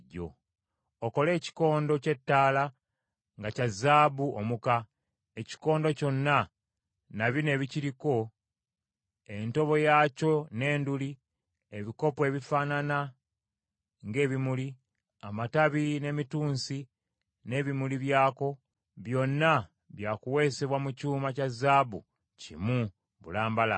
“Okole ekikondo ky’ettaala nga kya zaabu omuka. Ekikondo kyonna na bino ebikiriko: entobo yaakyo n’enduli, ebikopo ebifaanana ng’ebimuli, amatabi n’emitunsi n’ebimuli byako, byonna byakuweesebwa mu kyuma kya zaabu kimu bulambalamba.